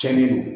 Cɛnnin don